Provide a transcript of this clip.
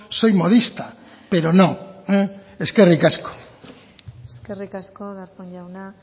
soy modista pero no eskerrik asko eskerrik asko darpón jauna